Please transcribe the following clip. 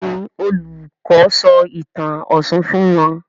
Béèni Olùkó sọ ìtàn òshun fún wón.